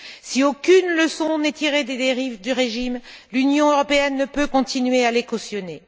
Si aucune leçon n'est tirée des dérives du régime, l'Union européenne ne peut continuer à les cautionner.